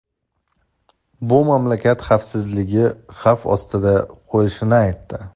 bu mamlakat xavfsizligini xavf ostiga qo‘yishini aytdi.